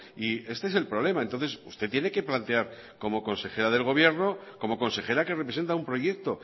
y este es el problema entonces usted tiene que plantear como consejera del gobierno como consejera que representa un proyecto